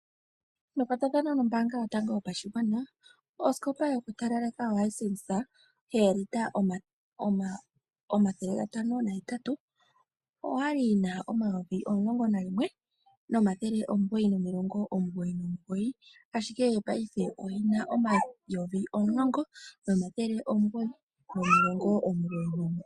Nekwatathano nombaanga yotango yopashigwana osikopa yokutalaleka yoHisense oolita o508 oyali yina o11, 999 ashike ngaashingeyi oyina 10, 999.